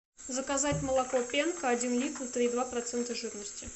заказать молоко пенка один литр три и два процента жирности